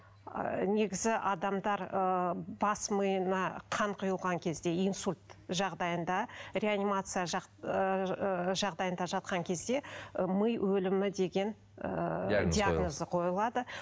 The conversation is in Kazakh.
ы негізі адамдар ыыы бас миына қан құйылған кезде инсульт жағдайында реанимация ыыы жағдайында жатқан кезде ы ми өлімі деген ыыы диагноз диагнозы қойылады